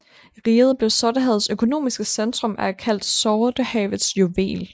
Riget blev Sortehavets økonomiske centrum og er kaldt Sortehavets juvel